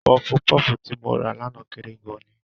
Pọfupọ́fù tí mo rà lánàá kéré gan-an ni.